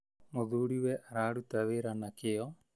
Mũthuriwe araruta wĩra na kĩo